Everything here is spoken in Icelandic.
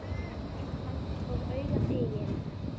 Eins langt og augað eygir.